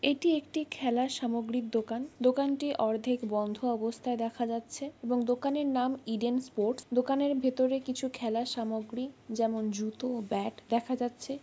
এটি একটি খেলার সামগ্রীর দোকান। দোকানটি অর্ধেক বন্ধ অবস্থায় দেখা যাচ্ছে এবং দোকানের নাম ইডেন ষ্পোর্টস । দোকানের ভেতর কিছু খেলার সামগ্রী যেমন জুতো ও ব্যাট দেখা যাচ্ছে।